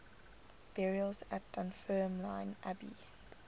burials at dunfermline abbey